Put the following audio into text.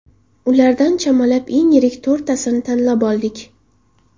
Ulardan chamalab eng yirik to‘rttasini tanlab oldik.